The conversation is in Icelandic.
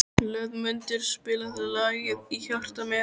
Hlöðmundur, spilaðu lagið „Í hjarta mér“.